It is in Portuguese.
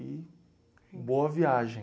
E boa viagem.